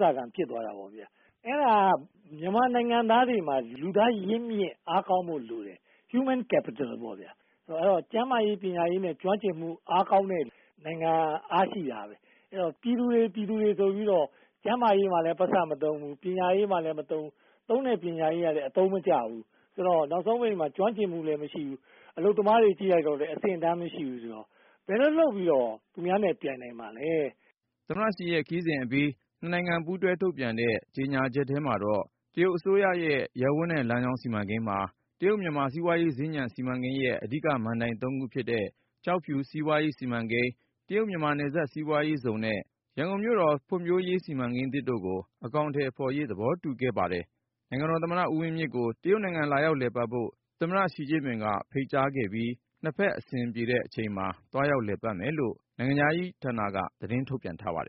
ဇာခံ ဖြစ်သွားတာပေါ့ဗျာ။ အဲဒါက မြန်မာနိုင်ငံသားတွေမှာ လူသားရင်းမြစ် အားကောင်းဖို့လိုတယ်။ Human Capital ပေါ့ဗျာ။ ကျန်းမာရေး၊ ပညာရေးနဲ့ ကျွမ်းကျင်မှု အားကောင်းတဲ့နိုင်ငံက အားရှိတာပဲ။ ပြည်သူတွေ ပြည်သူတွေ ဆိုပြီးတော့ ကျန်းမာရေးမှာလည်း ပိုက်ဆံမသုံးဘူး။ ပညာရေးမှာလည်း မသုံးဘူး။ သုံးတဲ့ပညာရေးကလည်း အသုံးမကျဘူး။ ဆိုတော့ နောက်ဆုံးပိတ်မှာ ကျွမ်းကျင်မှုလည်း မရှိဘူး။ အလုပ်သမားတွေ ကြည့်လိုက်တော့လည်း အဆင့်အတန်း မရှိဘူးဆိုတော့ ဘယ်လိုလုပ်ပြီးတော့ သူများနဲ့ ပြိုင်နိုင်မှာလဲ။” သမ္မတ Xi ရဲ့ ခရီးစဉ်အပြီး နှစ်နိုင်ငံ ပူးတွဲထုတ်ပြန်တဲ့ ကြေညာချက်ထဲမှာတော့ တရုတ်အစိုးရရဲ့ “ရပ်ဝန်းနဲ့လမ်းကြောင်း” စီမံကိန်းမှာ တရုတ်-မြန်မာ စီးပွားရေးစင်္ကြံ စီမံကိန်းရဲ့ အဓိကမဏ္ဍိုင် ၃ ခုဖြစ်တဲ့ ကျောက်ဖြူ စီးပွားရေးဇုန် စီမံကိန်း၊ တရုတ်-မြန်မာ နယ်စပ်စီးပွားရေးဇုန်နဲ့ ရန်ကုန်မြို့တော်ဖွံ့ဖြိုးရေး စီမံကိန်းသစ်တို့ကို အကောင်အထည်ဖော်ရေး သဘောတူခဲ့ကြပါတယ်။ နိုင်ငံတော်သမ္မတ ဦးဝင်းမြင့်ကို တရုတ်နိုင်ငံ လာရောက်လည်ပတ်ဖို့ သမ္မတ Xi Jinping က ဖိတ်ကြားသွားခဲ့ပြီး နှစ်ဖက်အဆင်ပြေမယ့်အချိန်မှာ သွားရောက်လည်ပတ်မယ်လို့ နိုင်ငံခြားရေးဌာနက သတင်းထုတ်ပြန်ထားပါတယ်